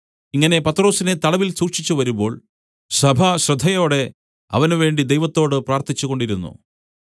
ഇങ്ങനെ പത്രൊസിനെ തടവിൽ സൂക്ഷിച്ചുവരുമ്പോൾ സഭ ശ്രദ്ധയോടെ അവനുവേണ്ടി ദൈവത്തോട് പ്രാർത്ഥിച്ചുകൊണ്ടിരുന്നു